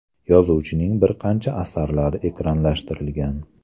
Yozuvchining bir qancha asarlari ekranlashtirilgan.